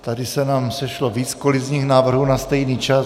Tady se nám sešlo víc kolizních návrhů na stejný čas.